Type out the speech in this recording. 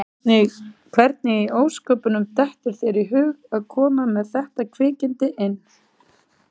Hvernig í ósköpunum dettur þér í hug að koma með þetta kvikindi inn?